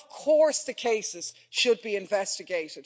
And of course the cases should be investigated.